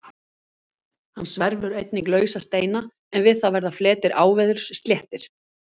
Hann sverfur einnig lausa steina en við það verða fletir áveðurs sléttir.